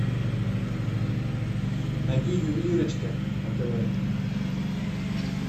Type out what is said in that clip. найди ювелирочка на тв